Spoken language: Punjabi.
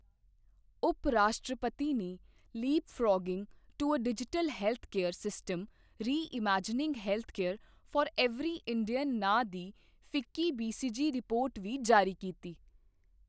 ਉਪ ਰਾਸ਼ਟਰਪਤੀ ਨੇ leapfrogging to a digital healthcare system reimagining healthcare for every Indian ਨਾਂਅ ਦੀ ਫਿੱਕੀ ਬੀਸੀਜੀ ਰਿਪੋਰਟ ਵੀ ਜਾਰੀ ਕੀਤੀ।